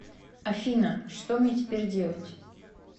афина что мне теперь делать